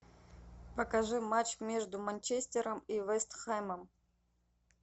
покажи матч между манчестером и вест хэмом